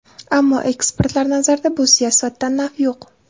Ammo, ekspertlar nazarida, bu siyosatdan naf yo‘q.